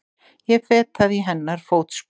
Ég fetaði í hennar fótspor.